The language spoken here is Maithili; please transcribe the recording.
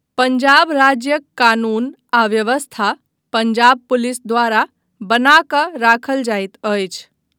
पञ्जाब राज्यक कानून आ व्यवस्था पञ्जाब पुलिस द्वारा बना कऽ राखल जाइत अछि।